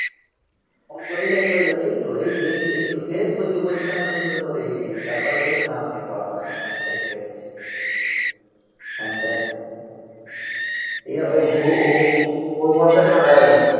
Phone করেই যাবি করে যাবি. এই তো, এই তো, এই তো, এই তো, শেষ করছি. পজিশন পর্যন্ত তোকে বলল এই তো, এই তো, তারপরে বলবে না আমি যেতে পারবো না. আমি এরম এক জায়গায় চলে এসেছি হ্যান তেন